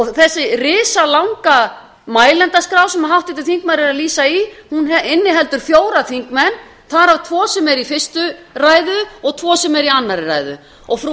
þessi risalanga mælendaskrá sem háttvirtur þingmaður vísar í inniheldur fjóra þingmenn þar af tvo sem eru í fyrstu ræðu og tvo sem eru í annarri ræðu frú